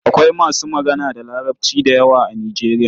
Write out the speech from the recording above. Akwai masu magana da Larabci da yawa a Nijeriya.